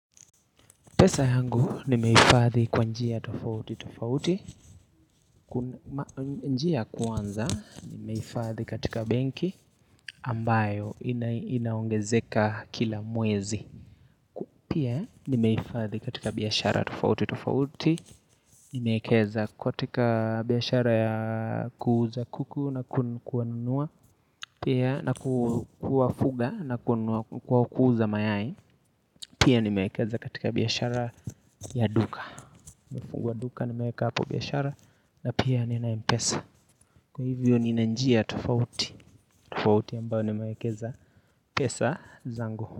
Pesa yangu nimeifadhi kwa njia tofauti tofauti, njia kwanza nimeifadhi katika benki ambayo inaongezeka kila mwezi. Pia nimeifadhi katika biashara tofauti tofauti, nimeekeza kwa tika biashara ya kuuza kuku na kuwanunua, pia na kufuga na kuuza mayai, pia nimeekeza katika biashara ya duka. Nimefungua duka nimeweka hapo biashara na pia nina mpesa. Kwa hivyo nina njia tofauti tofauti ambao nimewekeza pesa zangu.